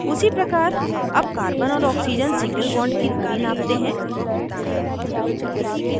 उसी प्रकार अब carbon और oxygen single bond की दूरी नापते हैं